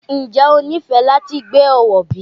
Ǹjẹ́ o nífẹ̀ẹ́ láti gbé Ọ̀wọ̀ bí?